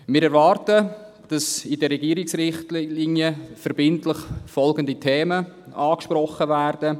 Wir erwarten, dass in den Regierungsrichtlinien verbindlich folgende Themen angesprochen werden: